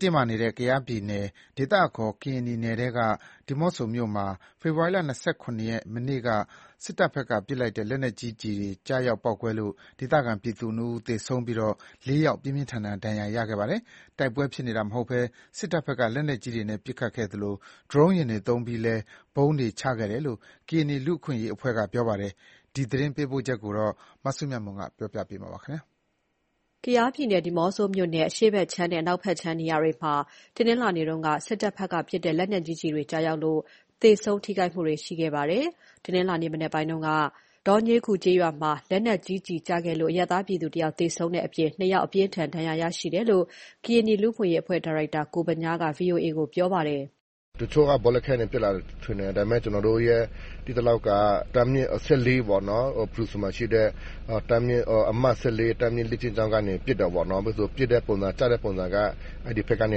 တင်းမာနေတဲ့ ကယားပြည်နယ် ဒေသအခေါ် ကရင်နီနယ်ထဲက ဒီးမော့ဆိုမြို့နယ်မှာ ဖေဖော်ဝါရီလ ၂၇ ရက် မနေ့က စစ်တပ်ဘက်က ပစ်လိုက်တဲ့ လက်နက်ကြီးကျည်တွေ ကျရောက်ပေါက်ကွဲလို့ ဒေသခံပြည်သူ ၂ ဦး သေဆုံးပြီး ၄ ယောက် ပြင်းပြင်းထန်ထန် ဒဏ်ရာရခဲ့ပါတယ်။ တိုက်ပွဲဖြစ်နေတာ မဟုတ်ဘဲ စစ်တပ်ဘက်က လက်နက်ကြီးတွေနဲ့ ပစ်ခတ်ခဲ့သလို၊ ဒရုန်းယာဉ်တွေ သုံးပြီးလည်း ဗုံးတွေချခဲ့တယ်လို့ ကရင်နီလူ့အခွင့်အရေးအဖွဲ့က ပြောပါတယ်။ ဒီသတင်းပေးပို့ချက်ကို မစုမြတ်မွန်က ပြောပြပါမယ်။ ကယားပြည်နယ်၊ ဒီးမော့ဆိုမြို့နယ် အရှေ့ဖက်ခြမ်းနဲ့ အနောက်ဘက်ခြမ်း နေရာတွေမှာ တနင်္လာနေ့က စစ်တပ်ဘက်က ပစ်တဲ့ လက်နက်ကြီးကျည်တွေ ကျရောက်လို့ သေဆုံး ထိခိုက်မှုတွေ ရှိခဲ့ပါတယ်။ တနင်္လာနေ့ မနက်ပိုင်းက ဒေါညေးခူကျေးရွာမှာ လက်နက်ကြီးကျည် ကျခဲ့လို့ အရပ်သားပြည်သူ ၁ ဦး သေဆုံးခဲ့တဲ့အပြင် ၂ ဦး အပြင်းအထန်ဒဏ်ရာရရှိတယ်လို့ ကရင်နီလူ့အခွင့်အရေးအဖွဲ့ ဒါရိုက်တာကိုဗညားက VOA ကိုပြောပြပါတယ်။ “တချို့က ဘောလခဲကနေ ပစ်လာတယ်လို့ ထင်တယ်၊ ဒါပေမယ့် ကျနော်တို့ သိသလောက်က တပ်ရင်း-၁၄ ပေါ့နော် ဖရူဆိုမှာရှိတဲ့ အမှတ် တပ်ရင်း လေ့ကျင့်ကြောင်းကနေ ပစ်တာပေါ့နော် ပစ်တဲ့ပုံစံ ကျတဲ့ပုံစံက အဲ့ဒီဖက်ကနေ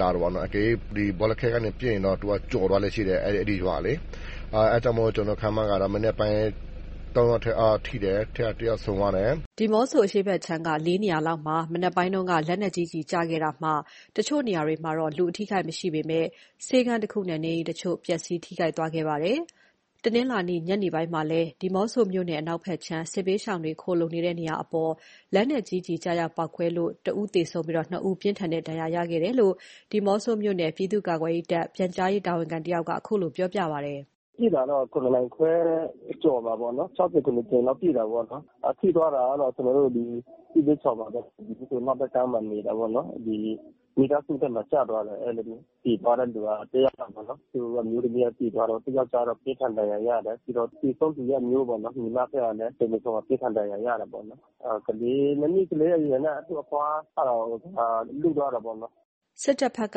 လာတယ်ပေါ့နော်၊ အကယ်လို့ ဒီ ဘောလခဲကနေပစ်ရင်တော့ သူကကျော်သွားလေ့ရှိတယ် အဲ့ဒီရွာလေ အဲ့ကြောင့်မို့ ကျနော်ခန့်မှန်းတာ၊ မနက်ပိုင်းက ၃ ယောက်ထိတယ်၊ အဲ့ထဲက တစ်ယောက်ဆုံးသွားတယ်။” ဒီးမော့ဆို အရှေ့ဖက်ခြမ်းက ၄ နေရာလောက်မှာ မနက်ပိုင်းက လက်နက်ကြီး ကျည်တွေကျခဲ့တာမှာ တချို့နေရာတွေမှာတော့ လူအထိအခိုက်မရှိပေမယ့် ဆေးခန်းတစ်ခုနဲ့ နေအိမ်တချို့ ပျက်စီးထိခိုက်သွားခဲ့ပါတယ်။ တနင်္လာနေ့ ညနေပိုင်းမှာလည်း ဒီးမော့ဆိုနယ် အနောက်ခြမ်း စစ်ဘေးရှောင်တွေ ခိုလှုံနေတဲ့ နေရာအပေါ် လက်နက်ကြီးကျရောက်ပေါက်ကွဲလို့ ၁ ဦးသေဆုံး ၂ ဦး ပြင်းထန်တဲ့ ဒဏ်ရာရှိခဲ့တယ်လို့ ဒီးမော့ဆိုမြို့နယ် ပြည်သူ့ကာကွယ်ရေးတပ် ပြန်ကြားရေးတာဝန်ခံတစ်ဦးက ခုလို ပြောပါတယ်။ “ပစ်တာတော့ ၇နာရီခွဲအကျော်မှာပေါ့နော်၊ ၆ကြိမ် ၇ကြိမ်လောက် ပစ်တာပေါ့နော် ထိသွားတာကတော့ ကျနော်တို့ စစ်ဘေးရှောင်ပါပဲ ဒီးမော့ဆိုအနောက်ဘက်ကမ်းမှာနေတာပေါ့နော်၊ ဒီမိသားစုထဲမှာကျသွားတယ် အဲ့လိုမျိုး၊ သေသွားတဲ့လူက တစ်ယောက်ပေါ့နော် သူ့အမျိုးသမီးက သေသွားတယ် သူ့ယောကျာ်းတော့ ပြင်းထန်ဒဏ်ရာရတယ်၊ ပြီးတော့ သေဆုံးသူရဲ့ အမျိုးပေါ့နော် ညီမကလည်း တင်းပါးဆုံမှာ ပြင်းထန်ဒဏ်ရာရရတာပေါ့နော်။ နှစ်နှစ်ကလေးအရွယ်နဲ့ သူ့အဖွားက လွတ်သွားတာပေါ့နော်။” စစ်တပ်ဘက်က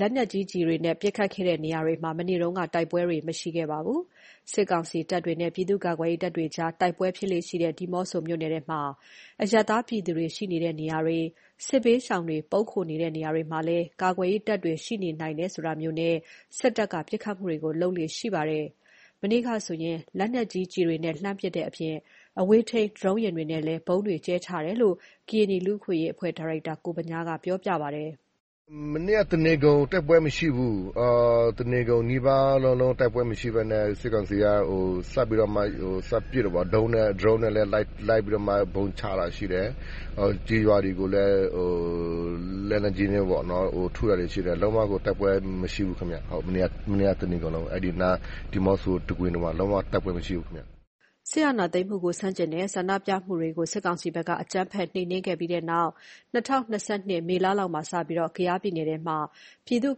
လက်နက်ကြီးကျည်တွေနဲ့ မနေ့က ပစ်ခတ်တဲ့နေရာတွေမှာ တိုက်ပွဲတွေ မရှိခဲ့ပါဘူး။ စစ်ကောင်စီတပ်တွေနဲ့ ပြည်သူ့ကာကွယ်ရေးတပ်တွေကြား တိုက်ပွဲတွေဖြစ်လေ့ရှိတဲ့ ဒီးမော့ဆိုမြို့နယ်ထဲမှာ အရပ်သားပြည်သူတွေ ရှိနေတဲ့နေရာတွေ၊ စစ်ဘေးရှောင်တွေ ပုန်းခိုနေတဲ့နေရာတွေမှာလည်း ကာကွယ်ရေးတပ်တွေ ရှိနိုင်နေတယ်ဆိုတာမျိုးနဲ့ စစ်တပ်က ပစ်ခတ်မှုတွေကို လုပ်လေ့ရှိပါတယ်။ မနေ့ကဆိုရင် လက်နက်ကြီးတွေနဲ့ လှန်းပစ်တဲ့အပြင် အဝေးထိန်း ဒရုန်းယာဉ်တွေနဲ့လည်း ဗုံးတွေ ကြဲချတယ်လို့ ကရင်နီလူ့အခွင့်အရေးအဖွဲ့ ဒါရိုက်တာ ကိုဗညားက ပြောပြပါတယ်။ “မနေ့က တစ်နေကုန် တိုက်ပွဲမရှိဘူး၊ တနေကုန်နီးပါးလုံးလုံးတိုက်ပွဲမရှိဘဲနဲ့ စစ်ကောင်စီက စပြီးတော့မှ စပစ်တယ်ပေါ့ ဒရုန်းနဲ့လည်း လိုက်ပြီးတော့မှ ဗုံးချတာရှိတယ်၊ ကျေးရွာတွေကို လက်နက်ကြီးနဲ့ပေါ့နော် ထုတာတွေရှိတယ်၊ လုံးဝကို တိုက်ပွဲမရှိဘူးခင်ဗျဟုတ်၊ မနေ့က တစ်နေကုန် အဲ့ဒီနားဒီးမော့ဆိုတခွင် လုံးဝတိုက်ပွဲမရှိဘူးခင်ဗျ။” စစ်အာဏာသိမ်းမှုကို ဆန့်ကျင်တဲ့ ဆန္ဒပြမှုတွေကို စစ်ကောင်စီက အကြမ်းဖက် နှိမ်နင်းခဲ့ပြီး တဲ့နောက် ၂၀၂၂ ခုနှစ် မေလမှာစပြီး၊ ကယားပြည်နယ်ထဲမှာ ပြည်သူ့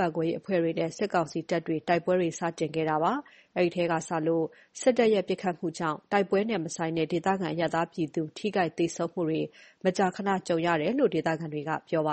ကာကွယ်ရေးအဖွဲ့တွေနဲ့ စစ်ကောင်စီတပ်တွေ တိုက်ပွဲစတင်လာတာပါ။ အဲဒီထဲကစလို့ စစ်တပ်ရဲ့ ပစ်ခတ်မှုကြောင့် တိုက်ပွဲနဲ့ မဆိုင်တဲ့ ဒေသခံ အရပ်သားပြည်သူတွေ ထိခိုက် သေဆုံးမှုတွေ မကြာခဏ ကြုံရတယ်လို့ ဒေသခံတွေက ပြောပါ